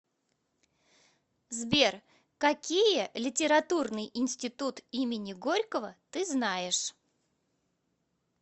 сбер какие литературный институт имени горького ты знаешь